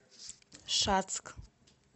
шацк